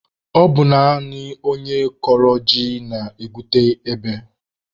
Ọ bụ naanị onye kọrọ ji na-egwute ebe